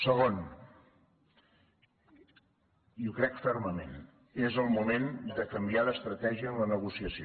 segon i ho crec fermament és el moment de canviar d’estratègia en la negociació